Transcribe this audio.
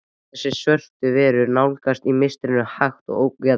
Þessar svörtu verur nálguðust í mistrinu, hægt og ógnvekjandi.